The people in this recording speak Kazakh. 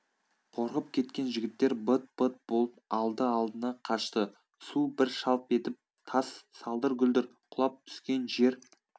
қорқып кеткен жігіттер быт-быт болып алды-алдына қашты су бір шалп етіп тас салдыр-гүлдір құлап түскен жер